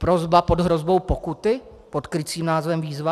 Prosba pod hrozbou pokuty pod krycím názvem výzva?